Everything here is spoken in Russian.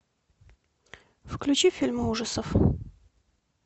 включи фильмы ужасов